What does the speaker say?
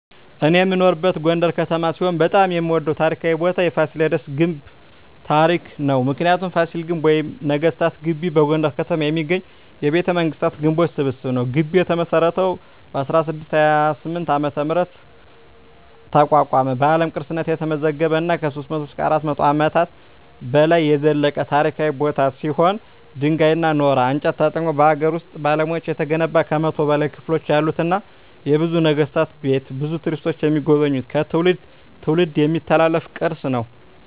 እኔ የምኖርበት ጎንደር ከተማ ሲሆን በጣም የምወደው ታሪካዊ ቦታ የፋሲለደስ ግንብ ታሪክ ነው። ምክንያቱ : ፋሲል ግንብ ወይም ነገስታት ግቢ በጎንደር ከተማ የሚገኝ የቤተመንግስታት ግንቦች ስብስብ ነው። ግቢው የተመሰረተው በ1628 ዓ.ም አቋቋመ በአለም ቅርስነት የተመዘገበ እና ከ300-400 አመታት በላይ የዘለቀ ታሪካዊ ቦታ ሲሆን ድንጋይ ,ኖራና እንጨት ተጠቅመው በሀገር ውስጥ ባለሙያዎች የተገነባ ከ100 በላይ ክፍሎች ያሉትና የብዙ ነገስታት ቤት ብዙ ቱሪስቶች የሚጎበኙት ከትውልድ ትውልድ የሚተላለፍ ቅርስ ነው።